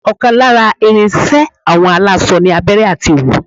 ọ̀kan lára ìrìn iṣẹ àwọn aláṣọ ni abẹrẹ àti òwú